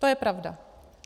To je pravda.